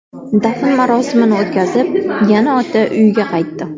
Dafn marosimini o‘tkazib, yana ota uyiga qaytdi.